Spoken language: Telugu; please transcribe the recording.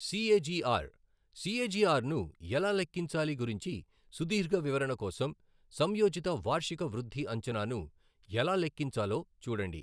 సీఏజీఆర్, సీఏజీఆర్ను ఎలా లెక్కించాలి గురించి సుదీర్ఘ వివరణ కోసం, సంయోజిత వార్షిక వృద్ధి అంచనాను ఎలా లెక్కించాలో చూడండి.